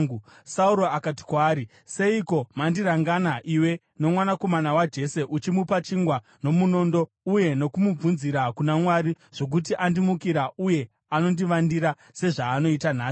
Sauro akati kwaari, “Seiko mandirangana, iwe nomwanakomana waJese, uchimupa chingwa nomunondo uye nokumubvunzira kuna Mwari, zvokuti andimukira uye anondivandira, sezvaanoita nhasi?”